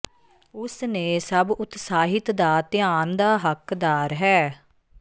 ਉਸ ਨੇ ਸਭ ਉਤਸਾਹਿਤ ਦਾ ਧਿਆਨ ਦਾ ਹੱਕਦਾਰ ਹੈ